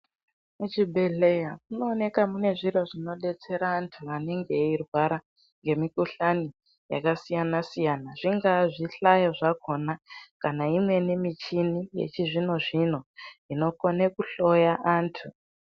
Muchibhedhleya, munooneka mune zviro zvinodetsera antu anenge eirwara, ngemkhuhlani yakasiyana-siyana .Zvingaa zvihlayo zvakhona, kana imweni michini yechizvino-zvino, inokone kuhloya antu.